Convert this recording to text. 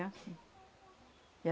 É assim. E a